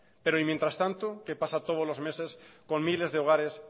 pero y mientras tanto qué pasa todos los meses con miles de hogares